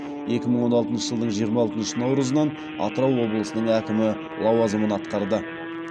екі мың он алтыншы жылдың жиырма алтыншы наурызынан атырау облысының әкімі лауазымын атқарды